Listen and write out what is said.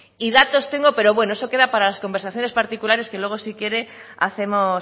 y datos tengo pero bueno eso queda para las conversaciones particulares que luego si quiere hacemos